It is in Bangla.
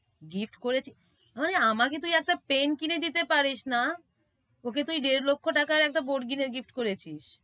gift করেছি, আরে আমাকে তুই একটা pen কিনে দিতে পারিস না, ওকে তুই দেড় লক্ষ টাকার একটা board কিনে gift করেছিস।